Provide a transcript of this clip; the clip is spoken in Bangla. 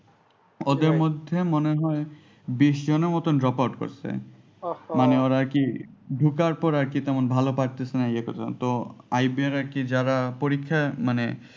ওদের মধ্যে মনে হয় বিষ জনের মতো drop out করছে মানে ওরা আর কি ঢোকার পরে ভাপারতেছিনা ইয়ে করতেছে না তো